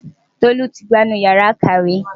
Tolu ti gbá inú Ìyàrá-ìkàwé.